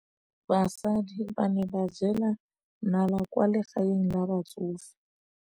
Basadi ba ne ba jela nala kwaa legaeng la batsofe.